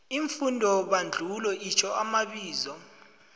iimfundobandulo itjho amabizo